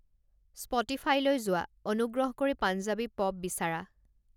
স্পটিফাইলৈ যোৱা, অনুগ্ৰহ কৰি পাঞ্জাৱী পপ বিচাৰা